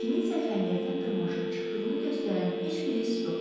Kiminnsə xəndəkdən dırmaşıb çıxdığını göstərən heç bir iz yoxdur.